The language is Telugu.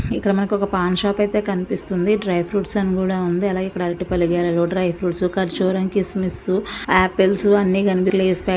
ఇక్కడ మనకు ఒక పాన్ షాప్ అయితే కనిపిస్తుంది. డ్రై ఫ్రూట్ స్ అని కూడా ఉంది. అలాగే ఇక్కడ అరటి పండ్ల గెలలు డ్రై ఫ్రూట్ స్ ఖర్జూర కిస్మిస్ ఆపిల్ స్ అన్ని కనిపిస్తున్నాయి.